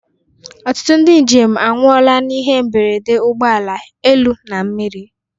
Ọtụtụ ndị njem anwụla n'ihe mberede ụgbọ ala, elu na mmiri.